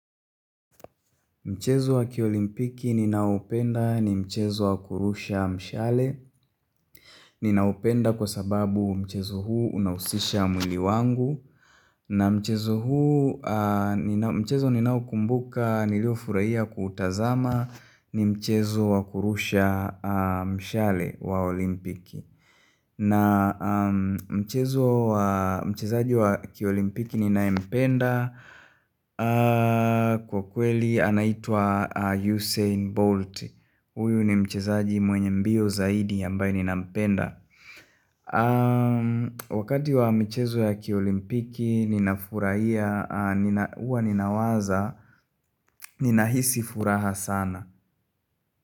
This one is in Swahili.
Mchezo wa kiolimpiki ninaopenda ni mchezo wa kurusha mshale Ninaupenda kwa sababu mchezo huu unausisha mwili wangu na mchezo huu mchezo ninao kumbuka nilio furaia kutazama ni mchezo wa kurusha mshale wa olimpiki na mchezo wa mchezaji wa kiolimpiki ninayempenda kwa kweli anaitwa Usain Bolt Uyu ni mchezaji mwenye mbio zaidi ambaye ninampemda kwa michezo ya kiolimpiki ninafuraia uwa ninawaza ninaisi furaha sana.